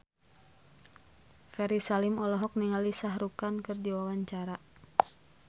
Ferry Salim olohok ningali Shah Rukh Khan keur diwawancara